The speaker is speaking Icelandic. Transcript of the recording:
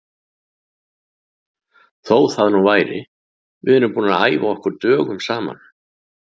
Þó það nú væri, við erum búnir að æfa okkur dögum saman.